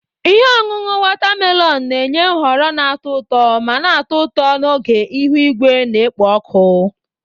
Ihe ọṅụṅụ watermelon na-enye nhọrọ na-atọ ụtọ ma na-atọ ụtọ n'oge ihu igwe na-ekpo ọkụ.